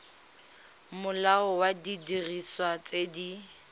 molao wa didiriswa tse di